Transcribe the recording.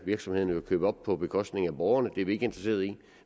virksomhederne jo købe op på bekostning af borgerne og det er vi ikke interesserede i